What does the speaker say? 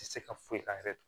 Tɛ se ka foyi k'a yɛrɛ ye